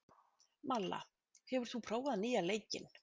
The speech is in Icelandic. Malla, hefur þú prófað nýja leikinn?